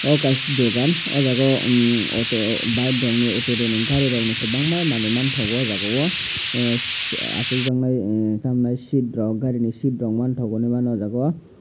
omo kaisa dogan aw jaaga o auto bike rok ni auto ni gari rok ni bwbangma manui manthogo aw jaag o achuk jaknai emm gari sit rok machine rok man thogo aw jaag o.